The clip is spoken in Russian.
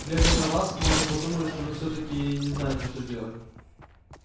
глядя на вас можно подумать что вы всё-таки и не знаете что делать